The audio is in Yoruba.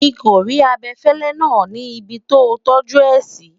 mí kò rí abefele nà ní ibì to tọju é si